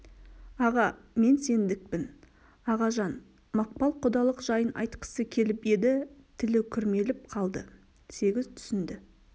аға мен сендікпін ағажан мақпал құдалық жайын айтқысы келіп еді тілі күрмеліп қалды сегіз түсінді